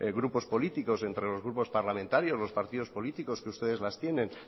grupos políticos entre los grupos parlamentarios los partidos políticos que ustedes las tienen